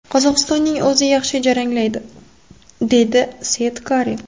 Qozog‘istonning o‘zi yaxshi jaranglaydi,” – deydi Seitkari.